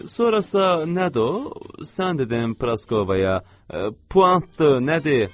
Sonrasa nədir o? Sən dedin Praskovaya puantdır, nədir?